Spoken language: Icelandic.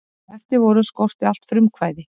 Þá sem eftir voru skorti allt frumkvæði.